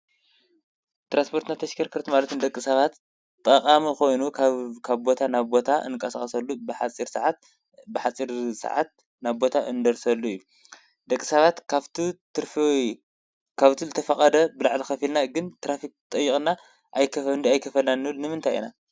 ትራንስፖርትና ተሽከርከርት ማለት ንደቂ ሰባት ጣቓሚ ኾይኑ ካብ ቦታ ናብ ቦታ እንቃሳቐሰሉ ብሓፅር ሰዓት ናብ ቦታ እንደርሰሉ እዩ። ደቂ ሳባት ካብቲ ትርፊ ወይ ካብቱ ዝተፈቐደ ብላዕል ኸፊልና ግን ትራፊክ ጠይቕና ኣይከፈን ዶ ኣይከፈላልናን ንብል ንምንታይ ኢናን?